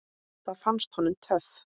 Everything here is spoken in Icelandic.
Það fannst honum töff.